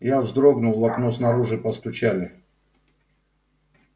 я вздрогнул в окно снаружи постучали